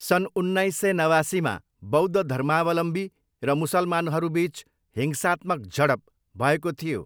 सन् उन्नाइस सय नवासीमा बौद्ध धर्मावलम्बी र मुसलमानहरूबिच हिंसात्मक झडप भएको थियो।